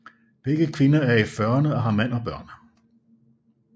Begge kvinder er i fyrrene og har mand og børn